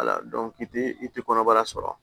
i ti kɔnɔbara sɔrɔ